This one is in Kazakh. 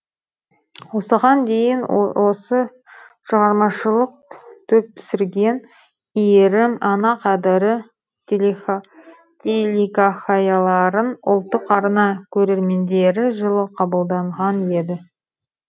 осыған дейін осы шығармашылық топ түсірген иірім ана қадірі телехикаяларын ұлттық арна көрермендері жылы қабылдаған еді